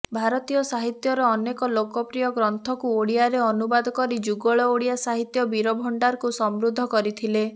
ଭାରତୀୟ ସାହିତ୍ୟର ଅନେକ ଲୋକପ୍ରିୟ ଗ୍ରନ୍ଥକୁ ଓଡ଼ିଆରେ ଅନୁବାଦ କରି ଯୁଗଳ ଓଡ଼ିଆ ସାହିତ୍ୟ ବାଣୀଭଣ୍ଡାରକୁ ସମୃଦ୍ଧ କରିଥିଲେ